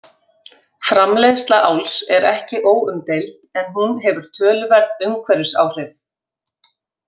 Framleiðsla áls er ekki óumdeild en hún hefur töluverð umhverfisáhrif.